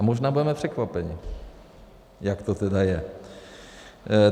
A možná budeme překvapeni, jak to tedy je.